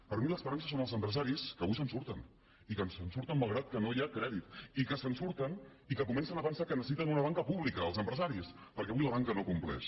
per mi l’esperança són els empresaris que avui se’n surten i que se’n surten malgrat que no hi ha crèdit i que se’n surten i que comencen a pensar que necessiten una banca pública els empresaris perquè avui la banca no compleix